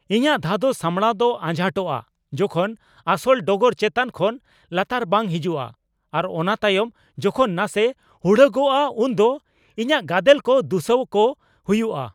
ᱤᱧᱟᱹᱜ ᱫᱷᱟᱫᱚᱥ ᱥᱟᱢᱵᱲᱟᱣ ᱫᱚ ᱟᱡᱷᱟᱴᱚᱜᱼᱟ ᱡᱚᱠᱷᱚᱱ ᱟᱥᱚᱞ ᱰᱚᱜᱚᱨ ᱪᱮᱛᱟᱱ ᱠᱷᱚᱱ ᱞᱟᱛᱟᱨ ᱵᱟᱝ ᱦᱤᱡᱩᱜᱼᱟ ᱟᱨ ᱚᱱᱟ ᱛᱟᱭᱚᱢ ᱡᱚᱠᱷᱚᱱ ᱱᱟᱥᱮ ᱦᱩᱲᱟᱹᱜᱚᱜᱼᱟ ᱩᱱ ᱫᱚ ᱤᱧᱟᱹᱜ ᱜᱟᱫᱮᱞ ᱠᱚ ᱫᱩᱥᱟᱹᱣᱠᱚ ᱦᱩᱭᱩᱜᱼᱟ ᱾